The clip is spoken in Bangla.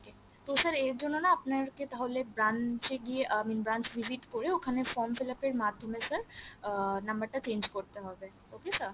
তো sir আর জন্য না আপনার কে তাহলে branch এ গিয়ে I mean branch visit করে ওখানে form fill up এর মাধ্যমে sir আহ number টা change করতে হবে okay sir